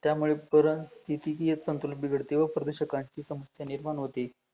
त्यामुळे परत तिथीकियेत संतुलन बिघडते व प्रदूशकाची समस्या निर्माण होते